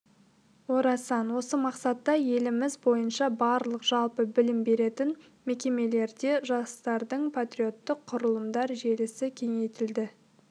орасан осы мақсатта еліміз бойынша барлық жалпы білім беретін мекемелерде жастардың патриоттық құрылымдар желісі кеңейтілді